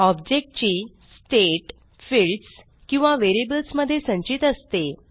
object ची state fields किंवा variables मध्ये संचित असते